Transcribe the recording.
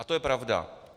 A to je pravda.